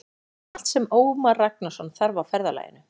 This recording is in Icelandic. Heimir: Allt sem Ómar Ragnarsson þarf á ferðalaginu?